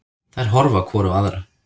Þær horfa hvor á aðra.